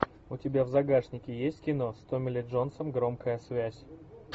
у тебя в загашнике есть кино с томми ли джонсом громкая связь